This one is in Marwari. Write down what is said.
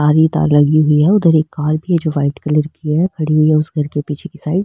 तार ही तार लगी हुई है उधर एक कार भी है जो व्हाइट कलर की है खड़ी हुई है उस घर के पीछे की साइड ।